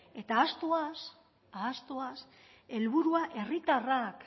eta ahaztuaz helburua herritarrak